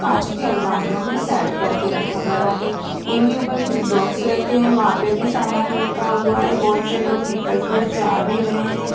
कांच की अलमारियों में सेट करके रखा गया है इनके ऊपर कुछ बॉक्स रखे हैं वहां पे भी सामान रखा हुआ है बहुत से लोग निकल के जा भी रहे हैं।